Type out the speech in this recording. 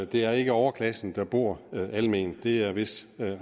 det er ikke overklassen der bor alment det er vist